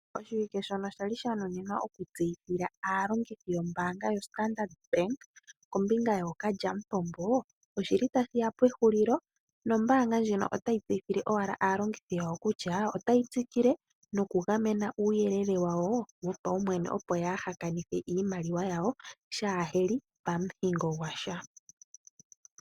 Oshiwike shono shali sha nuninwa oku tseyithila aalongithi yo mbaanga yoStandard bank kombinga yo kalya mpompo, oshili ta shiya pe hullo nombaanga ndjino otayi tse yithile owala aalongithi yawo kutya otayi tsi kile no ku gamena uuyelele wayo wo paumwene opo yaa ha kanithe iimaliwa yawo shaa heli pa muhingo gwasha.